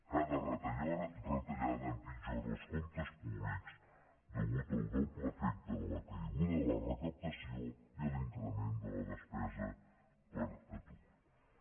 cada retallada empitjora els comptes públics pel doble efecte de la caiguda de la recaptació i l’increment de la despesa per atur